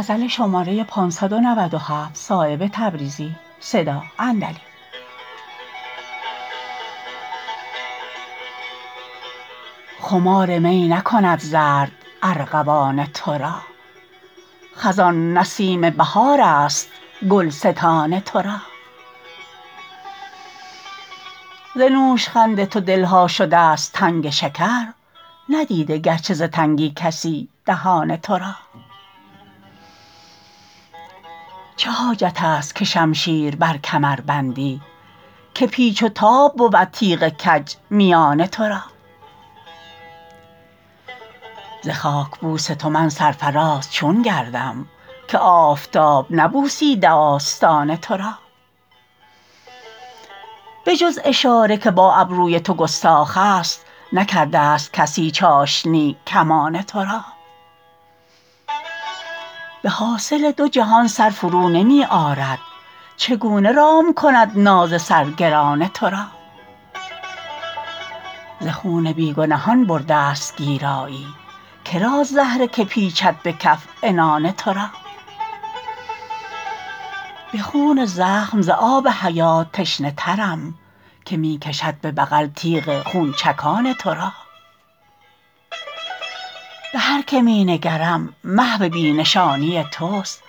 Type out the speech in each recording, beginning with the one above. خمار می نکند زرد ارغوان ترا خزان نسیم بهارست گلستان ترا ز نوشخند تو دلها شده است تنگ شکر ندیده گرچه ز تنگی کسی دهان ترا چه حاجت است که شمشیر بر کمر بندی که پیچ و تاب بود تیغ کج میان ترا ز خاکبوس تو من سرفراز چون گردم که آفتاب نبوسیده آستان ترا به جز اشاره که با ابروی تو گستاخ است نکرده است کسی چاشنی کمان ترا به حاصل دو جهان سر فرو نمی آرد چگونه رام کنم ناز سر گران ترا ز خون بیگنهان برده است گیرایی کراست زهره که پیچد به کف عنان ترا به خون زخم ز آب حیات تشنه ترم که می کشد به بغل تیغ خونچکان ترا به هر که می نگرم محو بی نشانی توست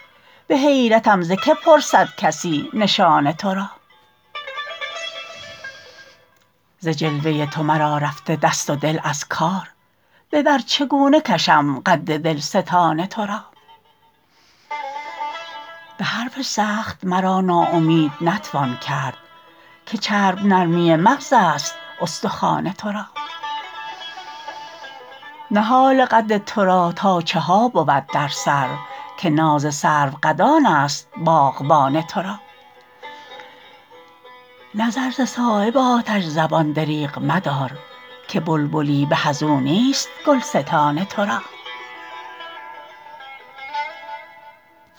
به حیرتم ز که پرسد کسی نشان ترا ز جلوه تو مرا رفته دست و دل از کار به بر چگونه کشم قد دلستان ترا به حرف سخت مرا ناامید نتوان کرد که چرب نرمی مغزست استخوان ترا نهال قد ترا تا چها بود در سر که ناز سرو قدان است باغبان ترا نظر ز صایب آتش زبان دریغ مدار که بلبلی به ازو نیست گلستان ترا